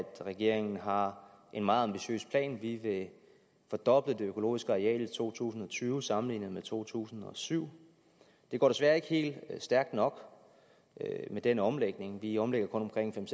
regeringen har en meget ambitiøs plan vi vil fordoble det økologiske areal i to tusind og tyve sammenlignet med to tusind og syv det går desværre ikke helt stærkt nok med den omlægning vi omlægger kun omkring fem